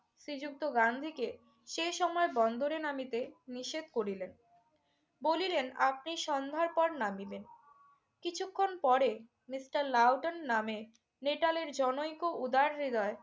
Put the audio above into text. শ্রীযুক্ত গান্ধীকে সে সময়ে বন্দরে নামিতে নিষেধ করিলেন। বলিলেন, আপনি সন্ধ্যার পর নামিবেন। কিছুক্ষন পরে মিস্টার লাউটন নামে নেটালের জনৈক উদারহৃদয়